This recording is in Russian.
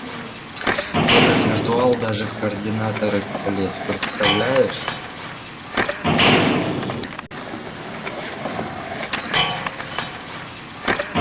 этот виртуал даже в координаторы полез представляешь